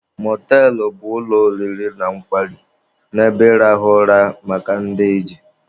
Mọtelụ bụ ụlọ oriri na nkwari na ebe ịrahụ ụra maka ndị ije.